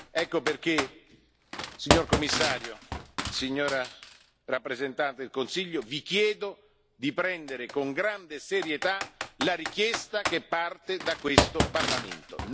Ecco perché, signor Commissario, signora rappresentante del Consiglio, vi chiedo di prendere con grande serietà la richiesta che parte da questo Parlamento.